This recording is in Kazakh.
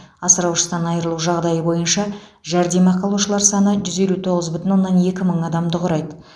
асыраушысынан айырылу жағдайы бойынша жәрдемақы алушылар саны жүз елу тоғыз бүтін оннан екі мың адамды құрайды